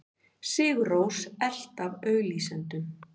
Sigur Rós elt af auglýsendum